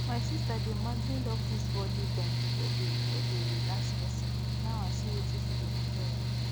my sister dey madly love this body bend wey dey wey dey relax person now i see wetin she dey enjoy